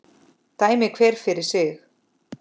Dæmi hver fyrir sig!